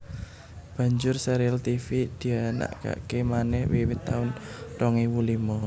Banjur sérial Tivi dianakaké manèh wiwit taun rong ewu limo